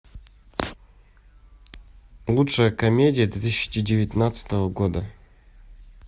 лучшая комедия две тысячи девятнадцатого года